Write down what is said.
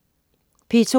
P2: